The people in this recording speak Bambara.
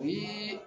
O ye